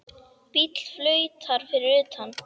Bíll flautar fyrir utan.